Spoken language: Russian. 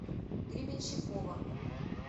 гребенщикова